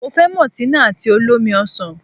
Mo fẹ́ mọ̀tínà àti olómi ọsàn.